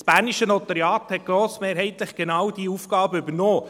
Das bernische Notariat hat grossmehrheitlich genau diese Aufgabe übernommen.